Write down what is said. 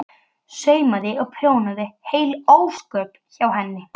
Einsog hlýjar hendurnar fyrr í tímanum.